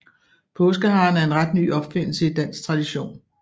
Påskeharen er en ret ny opfindelse i dansk tradition